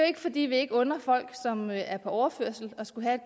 ikke fordi vi ikke under folk som er på overførsel at skulle have